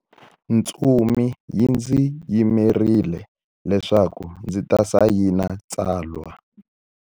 Ntsumi yi ndzi yimerile leswaku ndzi ta sayina tsalwa.